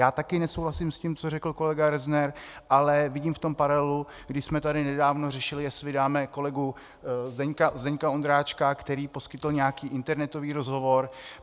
Já také nesouhlasím s tím, co řekl kolega Rozner, ale vidím v tom paralelu, kdy jsme tady nedávno řešili, jestli vydáme kolegu Zdeňka Ondráčka, který poskytl nějaký internetový rozhovor.